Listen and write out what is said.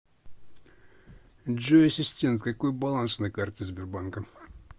джой ассистент какой баланс на карте сбербанка